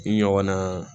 Ɲɔgɔn na